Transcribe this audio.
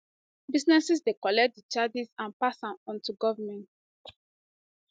businesses dey collect di charges and pass am on to goment